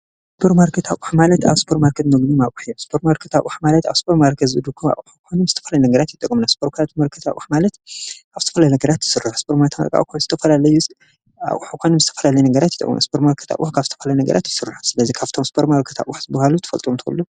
እስጵር ማርከታኡ ኃማለት ኣብ ስጶር ማርከድ ነግኑ ማብሒ ስጶር ማርከታኡ ኃማለት ኣብ ስጶር ማርከዝ ዝዱጉም ኣሓኳኑም ስተፋለ ነገራት ይጠቑምናሥበርካልቱ መርከታኡ ሓማለት ኣብተፈለ ነገራት ይሥር ኣስር ማይት ምርቃ ዝላሕኳኑም እስተፋላለይ ነገራት ይጠዉኑ ኣስጵር ማርከታ ኡህኽ ኣብተፍለ ነገራት ይሥሩ ስለዘ ኻብቶም ዝጵር ማርከታ ኡሕዝበሃሉ ትፈልጡ እንተሉ?